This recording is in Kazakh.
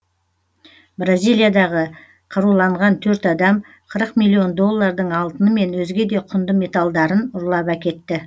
бразилиядағы қаруланған төрт адам қырық миллион доллардың алтыны мен өзге де құнды металдарын ұрлап әкетті